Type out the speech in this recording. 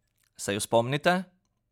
Se ju spomnite?